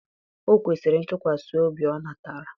o kwesịrị ntụkwasị obi ọ natara